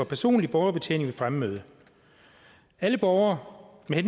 personlig borgerbetjening ved fremmøde alle borgere med